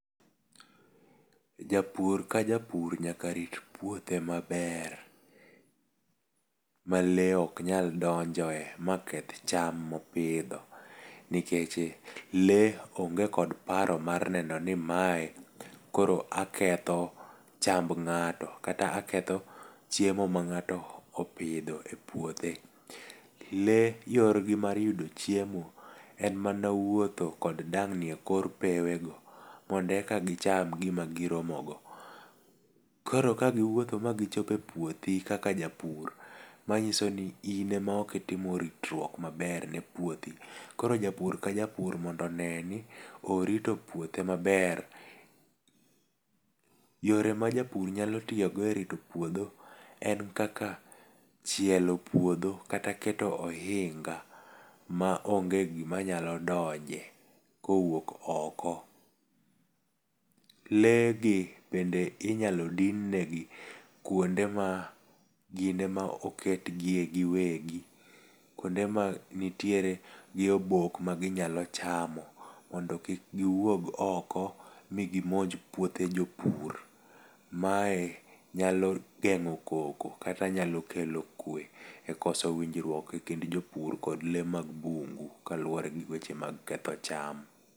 Japur ka japur nyaka rit puothe maber ma lee ok nyal donjoe maketh cham mopidho ,nikech lee onge kod paro maer neno ni mae koro aketho chamb ng'ato kata aketho chiemo mang'ato opidho e puothe. Lee yorgi mar yudo chiemo en mana wuotho kod dang'ni e kor pewego mondo eka gicham gima giromogo. Koro kagiwuotho magichopo e puodhi kaka japur, manyiso ni in ema ok itimo ritruok maber ne puothi. Koro japur ka japur mondo one ni orito puothe maber. Yore ma japur nyalo tiyogo e rito puodho en kaka chielo puodho kata keto ohinga ma onge gimanyalo donje kowuok oko. Lee gi bende inyalo din ne gi kwonde ma gin ema oket gie giwegi. Kwonde ma nitiere gi obok maginyalo mondo kik giwuok oko migimonj puothe jopur. Mae nyalo geng'o koko kata nyalo kelo kuwe e koso winjruok e kind jopur kod lee mag bungu kaluwore gi weche mag ketho cham.